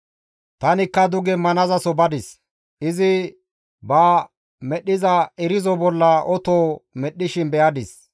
Tanikka duge manazaso badis; izi ba medhdhiza irzo bolla oto medhdhishin be7adis.